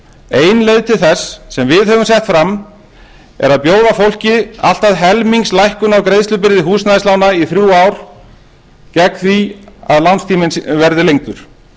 ein leið til þess sem við höfum sett fram er að bjóða fólki allt að helmingslækkun á greiðslubyrði húsnæðislána í þrjú ár gegn því að lánstíminn verði lengdur